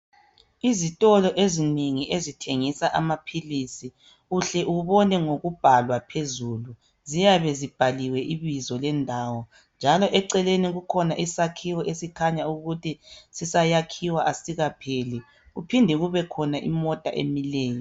Izikolo ezinengi ezithengisa amaphilisi uhle ubone ngokubhala phezulu ziyabe zibhaliwe ibizo lendawo njalo eceleni kukhona isakhiwo esikhanya ukuthi sisayakhiwa asikapheli kuphinde kube khona imota emileyo.